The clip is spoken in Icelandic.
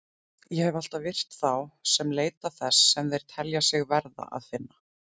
Ég hef alltaf virt þá sem leita þess sem þeir telja sig verða að finna.